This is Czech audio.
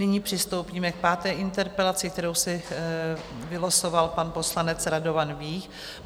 Nyní přistoupíme k páté interpelaci, kterou si vylosoval pan poslanec Radovan Vích.